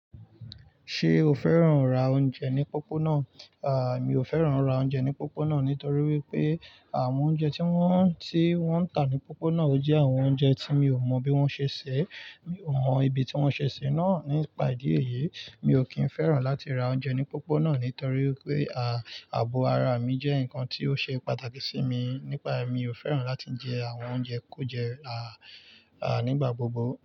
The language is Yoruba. Ṣé o fẹ́ràn ra oúnjẹ ní pópónà? À, mi ò fẹ́ràn ra oúnjẹ ní pópónà nítorí wípé àwọn oúnjẹ tí wọ́n, tí wọ́n ń tà ní pópónà ò jẹ́ àwọn oúnjẹ tí mi ò mọ bí wọ́n ṣe ṣẹ́. Mi ò mọ ibi tí wọ́n ṣe ṣé náà. Nípa ìdí èyí, mi ò kín fẹ́ràn láti ra oúnjẹ ní pópónà nítorí pé, à, ààbò ara mi jẹ́ nǹkan tí ó ṣe pàtàkì sí mi. Nípa èyí, mi ò fẹ́ràn láti jẹ àwọn oúnjẹ ku jẹ́, à, à nígbà gbogbo.